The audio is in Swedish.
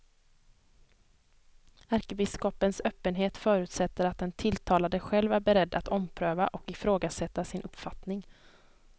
Ärkebiskopens öppenhet förutsätter att den tilltalade själv är beredd att ompröva och ifrågasätta sin uppfattning.